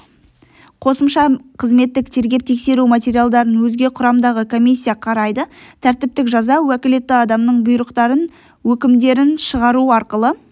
қосымша қызметтік тергеп-тексеру материалдарын өзге құрамдағы комиссия қарайды тәртіптік жаза уәкілетті адамның бұйрықтарын өкімдерін шығару арқылы